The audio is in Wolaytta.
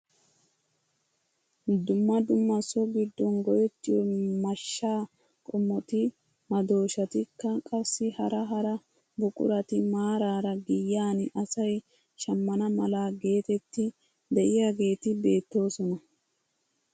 Dumma dumma so giddon go"ettiyoo mashshaa qomoti, madooshshatikka qassi hara hara buqurati maarara giyaan asay shammana mala getetti de'iyaageti beettoosona!